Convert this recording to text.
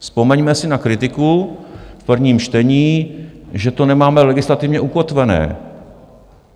Vzpomeňme si na kritiku v prvním čtení, že to nemáme legislativně ukotvené.